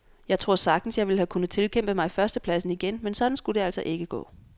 Jeg tror sagtens, jeg ville have kunnet tilkæmpe mig førstepladsen igen, men sådan skulle det altså ikke gå.